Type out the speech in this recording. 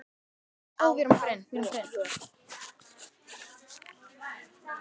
Óli á há joð?